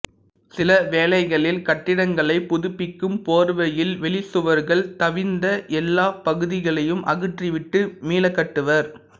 சிலவேளைகளில் கட்டிடங்களைப் புதுப்பிக்கும் போர்வையில் வெளிச்சுவர்கள் தவிர்ந்த எல்லாப் பகுதிகளையும் அகற்றிவிட்டு மீளக்கட்டுவர்